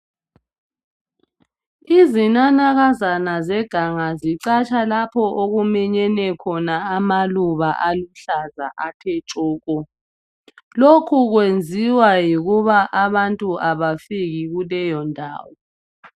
Izinanakazana zeganga zicatsha lapho okuminyene khona amaluba aluhlaza athe tshoko. Lokhu kwenziwa yikuba abantu abafiki kuleyo ndawo.